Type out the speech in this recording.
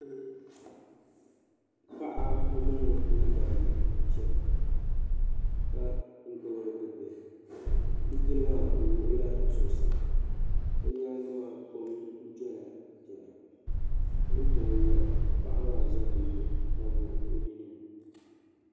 Paɣa o mini o yidana n chana ka gbubi bɛ bihi b'bil'maa o wuɣ o la zuɣusaa bɛ nyaaŋa maa kom dola dini wuntaŋ ŋmɛra ka paɣa maa zaŋ o nuu n tabi o nini ni